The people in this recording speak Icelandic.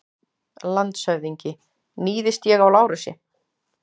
LANDSHÖFÐINGI: Níðist ég á Lárusi?